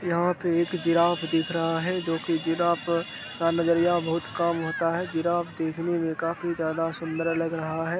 यहाँ पे एक जिराफ दिख रहा है जो की जिराफ़ का नजरिया बहुत काम होता है जिराफ देखने में काफी ज्यादा सुंदर लग रहा है।